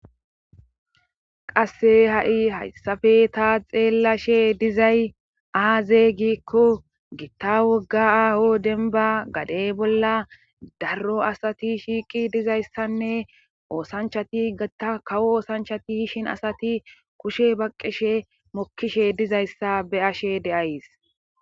qasse ha7i hayssafe taa xeellashe dizay aaze giikko gitta wogga aaho denba gadey bolla darro asati shiiqi dizayssanne oosanchati gata kawo oosanchati hishin asati kushe baqqishe mokkishe dizayssa be7ashe de7ays